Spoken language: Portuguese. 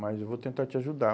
Mas eu vou tentar te ajudar.